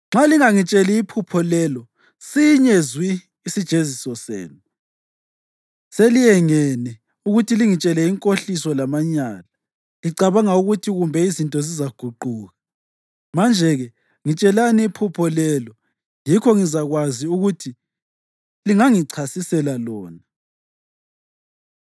Nxa lingangitsheli iphupho lelo, sinye zwi isijeziso senu. Seliyengene ukuthi lingitshele inkohliso lamanyala, licabanga ukuthi kumbe izinto zizaguquka. Manje-ke ngitshelani iphupho lelo yikho ngizakwazi ukuthi lingangichasisela lona.”